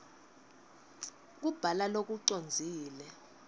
kubhala lokucondzile